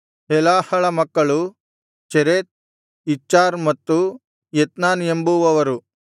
ಹೆಲಾಹಳ ಮಕ್ಕಳು ಚೆರೆತ್ ಇಚ್ಹಾರ್ ಮತ್ತು ಎತ್ನಾನ್ ಎಂಬುವವರು